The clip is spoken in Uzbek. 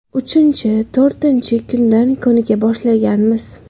Uchinchi, to‘rtinchi kundan ko‘nika boshlaganmiz.